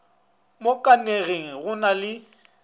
mo kanege go na le